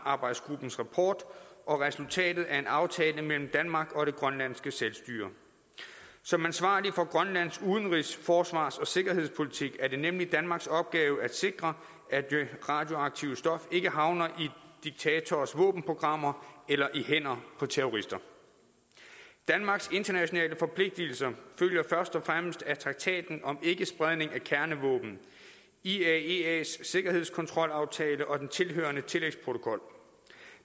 rapport og resultatet af en aftale mellem danmark og grønlands selvstyre som ansvarlig for grønlands udenrigs forsvars og sikkerhedspolitik er det nemlig danmarks opgave at sikre at det radioaktive stof ikke havner i diktatorers våbenprogrammer eller i hænderne på terrorister danmarks internationale forpligtelser følger først og fremmest af traktaten om ikkespredning af kernevåben iaeas sikkerhedskontrolaftale og den tilhørende tillægsprotokol